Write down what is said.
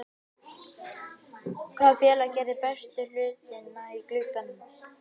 Hvaða félag gerði bestu hlutina í glugganum?